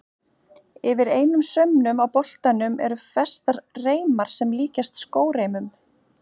Yfir einum saumnum á boltanum eru festar reimar sem líkjast skóreimum.